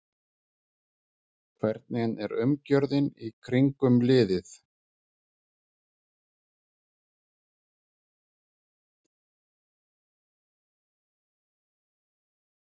Hvernig er umgjörðin í kringum liðið?